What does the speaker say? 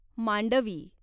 Mandvi